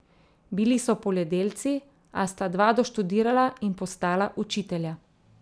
Bili so poljedelci, a sta dva doštudirala in postala učitelja.